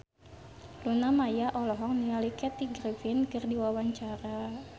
Luna Maya olohok ningali Kathy Griffin keur diwawancara